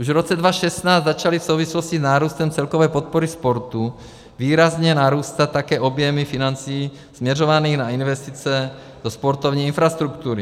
Už v roce 2016 začaly v souvislosti s nárůstem celkové podpory sportu výrazně narůstat také objemy financí směřovaných na investice do sportovní infrastruktury.